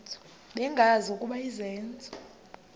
bengazi ukuba izenzo